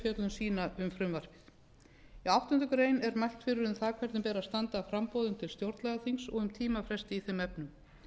sína um frumvarpið í áttundu grein er mælt fyrir um það hvernig beri að standa að framboðum til stjórnlagaþings og um tímafresti í þeim efnum